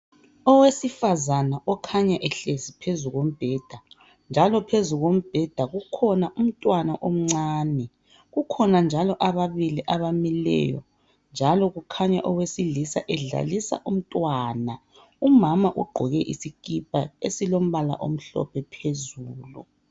Owesifazana okhanya ohlezi phezu kombheda njalo phezu kombheda kukhona umntwana omncane kukhona njalo ababili abamileyo njalo kukhanya owesilisa edlalisa umntwana umama ugqoke iskipa esilombala omhlophe phezulu.